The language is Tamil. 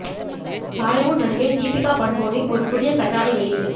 பாலிவுட் நடிகை தீபிகா படுகோனே ஒரு புதிய கண்ணாடி வெளியீடு